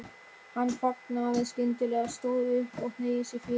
Hann þagnaði skyndilega, stóð upp og hneigði sig fyrir